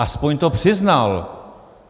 Aspoň to přiznal.